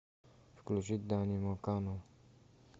включить дани мокану